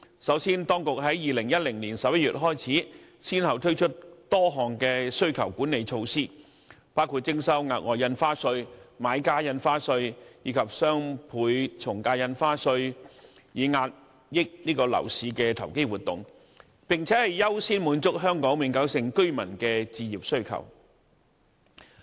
首先，當局從2010年11月開始，先後推出多項需求管理措施，包括徵收額外印花稅、買家印花稅，以及雙倍從價印花稅，以遏抑樓市的投機活動，並優先滿足香港永久性居民的置業需求。